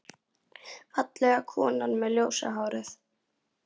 Fallega konan með ljósa hárið.